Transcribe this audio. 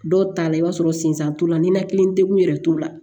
Dɔw ta la i b'a sɔrɔ sen san t'u la ninakili degun yɛrɛ t'u la